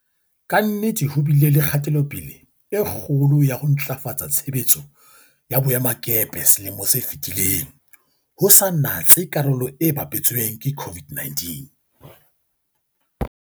Ka nnete ho bile le kgatelopele e kgolo ya ho ntlafatsa tshebetso ya boemakepe selemong se fetileng, ho sa natse karolo e bapetsweng ke COVID-19.